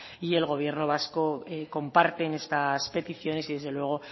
y el gobierno vasco comparten estas peticiones y desde luego